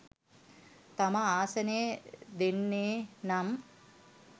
තම ආසනය දෙන්නේනම්